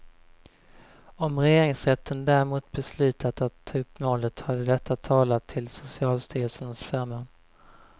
Om regeringsrätten däremot beslutat att ta upp målet hade detta talat till socialstyrelsens förmån.